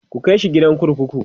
ku kaishi gidan kurkuku!